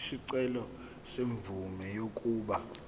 isicelo semvume yokuba